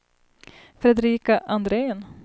Fredrika Andrén